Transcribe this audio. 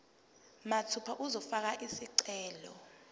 mathupha uzofaka isicelo